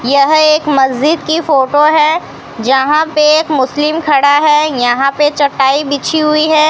यह एक मस्जिद की फोटो है। जहां पे एक मुस्लिम खड़ा है यहां पे चटाई बिछी हुई है।